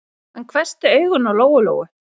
Hann hvessti augun á Lóu-Lóu.